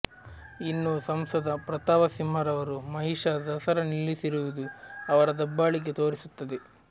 ಇನ್ನೂ ಸಂಸದ ಪ್ರತಾಪ ಸಿಂಹರವರು ಮಹಿಷಾ ದಸರಾ ನಿಲ್ಲಿಸಿರುವುದು ಅವರ ದಬ್ಬಾಳಿಕೆ ತೋರಿಸುತ್ತದೆ